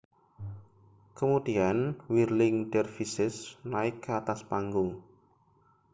kemudian whirling dervishes naik ke atas panggung